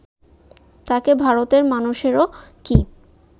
তাঁকে ভারতের মানুষেরও কি